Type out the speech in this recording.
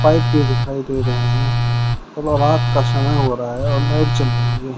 Pipe भी दिखाई दे रहे हैं और रात का समय हो रहा है और लाइट जल रही है।